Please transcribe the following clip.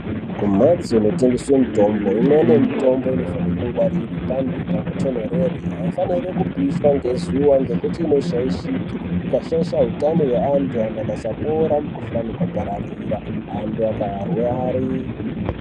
Kumhatso kunotengeswe mitombo imweni mitombo inofanirwe kungwarirwa panhu panotonhorera, panopipirira haifaniri kupishwa ngezuwa ngekuti inoshaishike ,ikashaisha utano hwevantu ,antu akasapora mukhuhlani ukapararira antu akarwara.